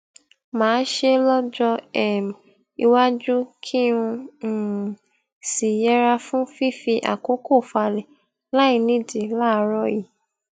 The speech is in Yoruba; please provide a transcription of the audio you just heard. màá ṣe lójó um iwájú kí n um sì yẹra fún fífi àkókò falè láìnídìí láàárò yìí